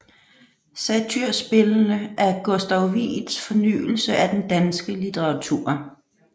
Satyrspillene er Gustav Wieds fornyelse af den danske litteratur